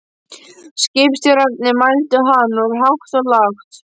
Skipstjórarnir mældu hann út hátt og lágt.